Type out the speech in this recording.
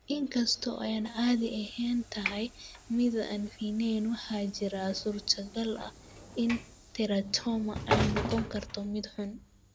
Inkasta oo ay caadi ahaan tahay mid aan fiicneyn, waxaa jira suurtagal ah in teratoma ay noqon karto mid xun.